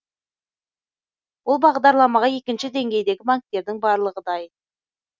бұл бағдарламаға екінші деңгейдегі банктердің барлығы дайын